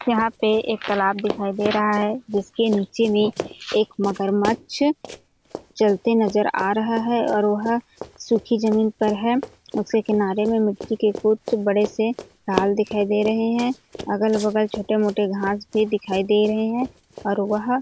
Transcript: यहाँ पे एक तालाब दिखाई दे रहा है जिसके निचे में एक मगरमच्छ चलते नजर आ रहा है और वह सुखी जमीन पर है उसके किनारे मे मुट्ठी के कुछ बड़े से हाल दिखाई दे रहे है अगल-बगल छोटे-मोटे घास भी दिखाई दे रहे है और वह --